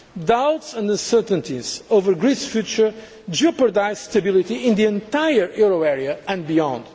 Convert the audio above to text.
Doubts and uncertainties over Greece's future jeopardise stability in the entire euro area and beyond.